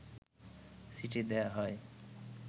চিঠি দেয়া হয়